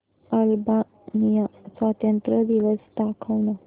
Albania स्वातंत्र्य दिवस दाखव ना